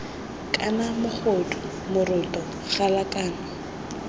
kana mogodu moroto gala kana